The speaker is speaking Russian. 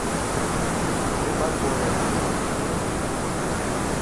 рыбакове